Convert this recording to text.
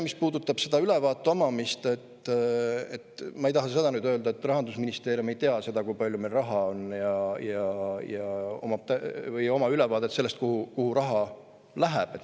Mis puudutab ülevaate omamist, siis ma ei taha öelda seda, et Rahandusministeerium ei tea, kui palju meil raha on, või et tal ei ole ülevaadet sellest, kuhu raha läheb.